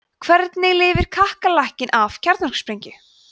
hvernig lifir kakkalakki af kjarnorkusprengju